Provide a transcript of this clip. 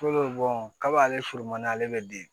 kaba b'ale furu man di ale bɛ den